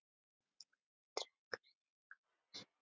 Hvernig drekkur hinn kaffið sitt?